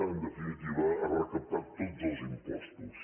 en definitiva recaptar tots els impostos